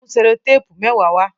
Mú sellotape mẹwa wá!